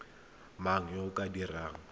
mang yo o ka dirang